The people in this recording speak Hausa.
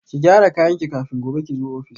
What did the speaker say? Ki gyara kayanki kafin gobe kizo office